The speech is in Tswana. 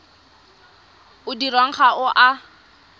o dirwang ga o a